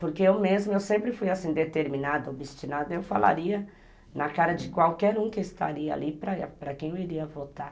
Porque eu mesma, eu sempre fui assim, determinada, obstinada, eu falaria na cara de qualquer um que estaria ali para quem eu iria votar.